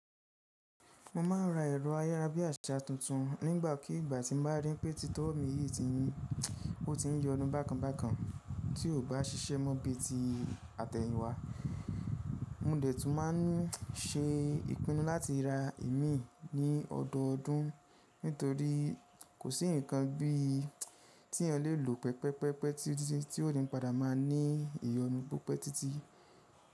Mo ma ń ra ẹ̀rọ ayerábíàṣá tuntun nígbàkigbà tí n bá rí pé títọ́ mi yìí ti ń oti n yọnu bákanbákan tí ò bá ṣíṣẹ́ mọ́ bí ti àtẹ̀yìn wá. Mo de tún ma ń ṣe ìpinnu láti ra ìmí ní ọdọọdún nítorí kò sí ǹkan bí tí ẹ lè lò pẹpẹ́pẹ́pẹ́ títiti ti ó ni padà má ní ìyọnu púpọ̀ títí.